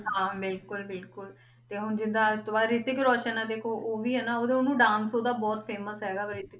ਹਾਂ ਬਿਲਕੁਲ ਬਿਲਕੁਲ ਤੇ ਹੁਣ ਜਿੱਦਾਂ ਇਹ ਤੋਂ ਬਾਅਦ ਹਰਿਤਕ ਰੋਸ਼ਨ ਆਂ ਦੇਖੋ ਉਹ ਵੀ ਆ ਨਾ ਉਹ ਉਹਨੂੰ dance ਉਹਦਾ ਬਹੁਤ famous ਹੈਗਾ ਵਾ ਹਰਿਤਕ